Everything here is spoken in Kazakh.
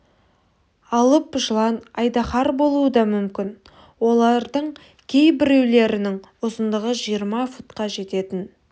алып жылан айдаһар болуы да мүмкін олардың кей біреулерінің ұзындығы жиырма футқа жететін